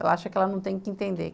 Ela acha que ela não tem que entender.